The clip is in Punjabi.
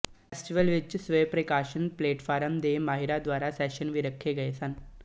ਫੈਸਟੀਵਲ ਵਿੱਚ ਸਵੈਪ੍ਰਕਾਸ਼ਨ ਪਲੇਟਫਾਰਮਾਂ ਦੇ ਮਾਹਿਰਾਂ ਦੁਆਰਾ ਸੈਸ਼ਨ ਵੀ ਰੱਖੇ ਗਏ ਸਨ